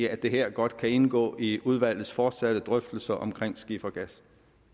at det her godt kan indgå i udvalgets fortsatte drøftelser om skifergas